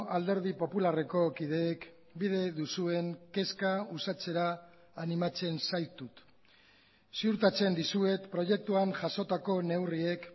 alderdi popularreko kideek bide duzuen kezka uxatzera animatzen zaitut ziurtatzen dizuet proiektuan jasotako neurriek